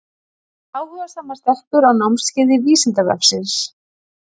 Áhugasamar stelpur á námskeiði Vísindavefsins!